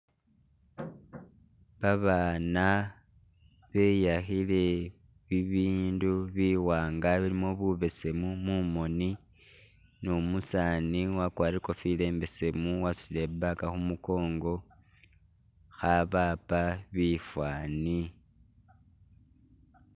Babana beyakhile ibindu biwanga bilimo bubesemu mumoni numusani wakwarire ikofila imbesemu wasutile i bag khumukongo khabapa bifani